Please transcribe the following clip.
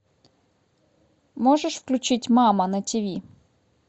можешь включить мама на тв